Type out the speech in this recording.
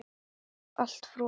Allt frosið.